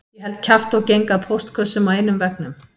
Ég held kjafti og geng að póstkössum á einum veggnum